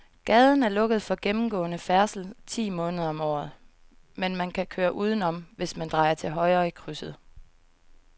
Gaden er lukket for gennemgående færdsel ti måneder om året, men man kan køre udenom, hvis man drejer til højre i krydset.